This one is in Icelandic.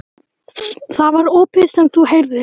Það var ópið sem þú heyrðir.